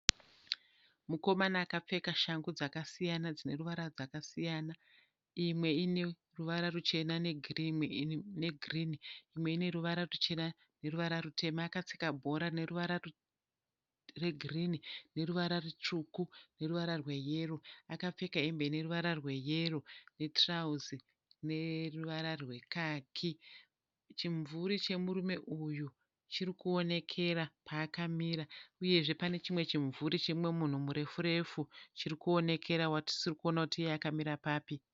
Mukomana akapfeka shangu dzakasiyana dzine ruvara dzakasiyana. Imwe ine ruvara ruchena negirini. Imwe ine ruvara ruchena neruvara rutema. Akatsika bhora rine ruvara regirini, neruvara rutsvuku neruvara rweyero. Akapfeka hembe ineruvara rweyero netirauzi rine ruvara rwekaki. Chimumvuri chemurume uyu chirikuonekera paakamira. Uyezve pane chimwe chimumvuri chemumwe munhu murefu refu chirikuonekera uye watisiri kuona kuti iye akamira papi.